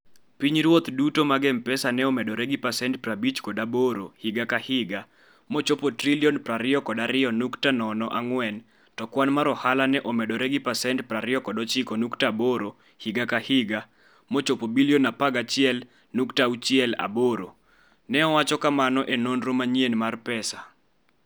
Pinyruoth duto mag M-Pesa ne omedore gi pasent 58 higa ka higa mochopo Sh22.04 trilion, to kwan mar ohala ne omedore gi pasent 29.8 higa ka higa mochopo bilion 11.68, ne owacho kamano e nonro manyien mar pesa.